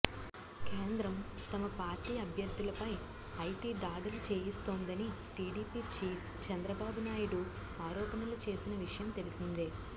కేంద్రం తమ party అభ్యర్థులపై IT దాడులు చేయిస్తోందని టీడీపీ చీఫ్ చంద్రబాబునాయుడు ఆరోపణలు చేసిన విషయం తెలిసిందే